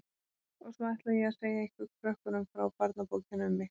Og svo ætla ég að segja ykkur krökkunum frá barnabókinni um mig.